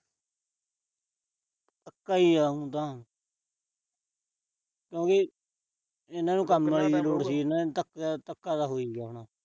ਧੱਕਾ ਈ ਆ ਓ ਤਾਂ। ਓ ਵੀ ਇਹਨਾਂ ਨੂੰ ਕੰਮ ਆਲੀ ਦੀ ਲੋੜ ਸੀ। ਧੱਕਾ ਅਹ ਧੱਕਾ ਤਾਂ ਹੋ ਈ ਗਿਆ ਇਹਨਾਂ ਨਾਲ।